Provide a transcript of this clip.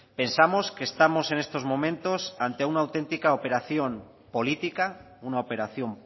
pensamos que estamos en estos momentos ante una auténtica operación política una operación